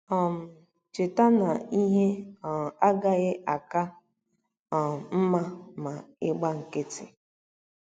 um Cheta na ihe um agaghị aka um mma ma ị gba nkịtị.